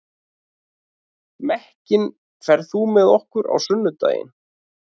Mekkin, ferð þú með okkur á sunnudaginn?